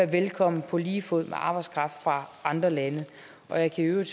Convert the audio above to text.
velkomne på lige fod med arbejdskraft fra andre lande jeg kan i øvrigt